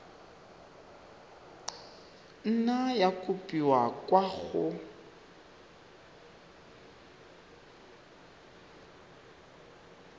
nna ya kopiwa kwa go